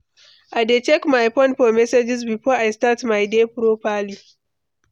I dey check my phone for messages before I start my day properly.